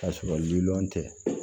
K'a sɔrɔ lilɔn tɛ